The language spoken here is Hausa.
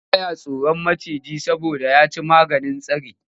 Ba ya tsoron maciji saboda ya ci maganin tsari.